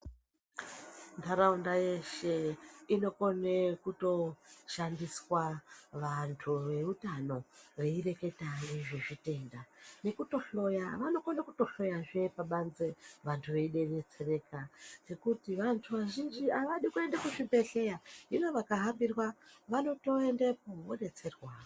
Ntaraunda yeshe inokone kutoshandiswa vantu veutano veireketa ngezvezvitenda. n Nekutohloya vanokona kutohloya pabanze vantu veidetsereka ngekuti vantu azhinji avadi kuenda kuzvibhehleya hino vakahambirwa vanotoendepo vodetserwa.